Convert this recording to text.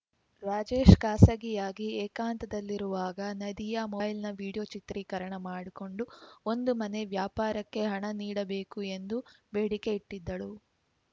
ರಾಜೇಶ್‌ ಖಾಸಗಿಯಾಗಿ ಏಕಾಂತದಲ್ಲಿರುವಾಗ ನದಿಯಾ ಮೊಬೈಲ್‌ನಲ್ಲಿ ವಿಡಿಯೋ ಚಿತ್ರೀಕರಣ ಮಾಡಿಕೊಂಡು ಒಂದು ಮನೆ ವ್ಯಾಪಾರಕ್ಕೆ ಹಣ ನೀಡಬೇಕು ಎಂದು ಬೇಡಿಕೆ ಇಟ್ಟಿದ್ದಳು